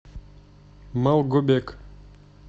малгобек